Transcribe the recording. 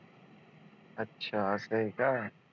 अच्छा असं आहे का